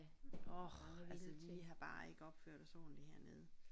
Orh altså vi har bare ikke opført os ordenligt hernede